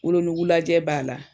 Wolonugu lajɛ b'a la